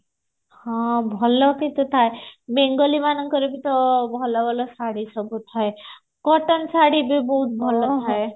ହଁ ଭଲ କି ବେଙ୍ଗଲି ମାନଙ୍କର ବି ତ ଭଲ ଭଲ ଶାଢୀ ସବୁ ଥାଏ cotton ଶାଢୀ ବି ବହୁତ ଭଲ ଥାଏ